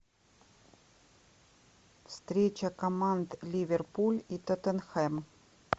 встреча команд ливерпуль и тоттенхэм